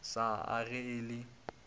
sa a ge e le